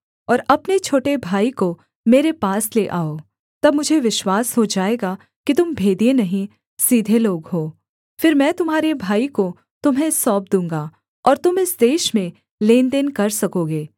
और अपने छोटे भाई को मेरे पास ले आओ तब मुझे विश्वास हो जाएगा कि तुम भेदिए नहीं सीधे लोग हो फिर मैं तुम्हारे भाई को तुम्हें सौंप दूँगा और तुम इस देश में लेनदेन कर सकोगे